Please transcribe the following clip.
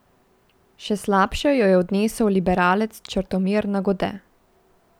Še slabše jo je odnesel liberalec Črtomir Nagode.